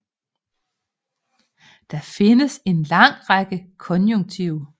Der findes en lang række konjunktiv